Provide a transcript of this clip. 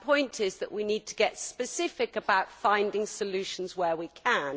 My point is that we need to get specific about finding solutions where we can.